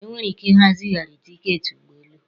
Enwere ike ịha zigharị tiketi ụgbọ elu